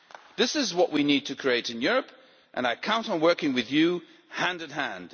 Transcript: This is what we need to create in Europe, and I count on working with you hand in hand.